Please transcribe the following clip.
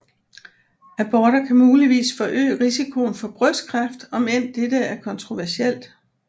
Aborter kan muligvis forøge risikoen for brystkræft om end dette er kontroversielt